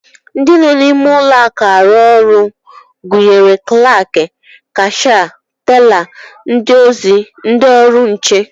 Ndị nọ n'ime ụlọakụ arụ ọrụ gụnyere klaak, kashịa, tela, ndị ozi, ndị ọrụ nche